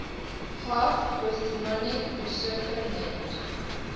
half brythonic usurper named